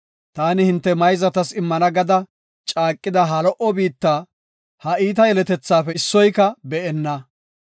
taani hinte mayzatas immana gada caaqida ha lo77o biitta, ha iita yeletethaafe issoyka be7enna.